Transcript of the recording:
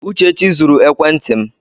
Uchechi zuru ekwenti m.